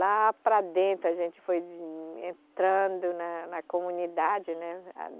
Lá para dentro, a gente foi entrando na comunidade.né